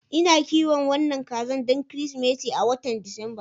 Ina kiwon wannan kaza don Kirsimeti a watan Disamba.